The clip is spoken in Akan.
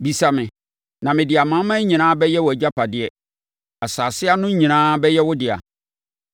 Bisa me, na mede amanaman nyinaa bɛyɛ wʼagyapadeɛ, asase ano nyinaa bɛyɛ wo dea.